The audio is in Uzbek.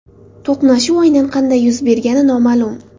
To‘qnashuv aynan qanday yuz bergani noma’lum.